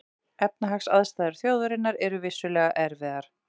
Efnahagsaðstæður þjóðarinnar eru vissulega erfiðar